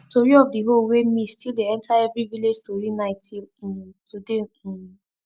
tori of the hoe wey miss still dey enter every village story night till um today um